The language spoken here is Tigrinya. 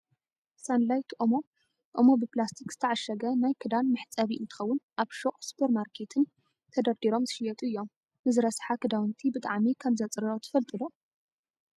ሳንላይት ኦሞ፣ ኦሞ ብፕላስቲክ ዝተዓሸገ ናይ ክዳን መሕፀቢ እንትከውን ኣብ ሹቅን ሱፐርማርኬትን ተደርዲሮም ዝሽየጡ እዮም። ንዝረሰሓ ክዳውንቲ ብጣዕሚ ከምዘፅርዮ ትፈልጡ ዶ ?